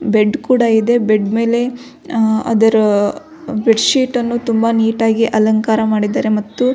ಬೆಡ್ಡ್ ಕೂಡ ಇದೆ ಬೆಡ್ಡ್ ಮೇಲೆ ಅಹ್ ಅದರ ಬೆಡ್ಡ್ ಶೀಟ್ ಅನ್ನು ತುಂಬ ನೀಟಾಗಿ ಅಲಂಕಾರ ಮಾಡಿದ್ದಾರೆ ಮತ್ತು --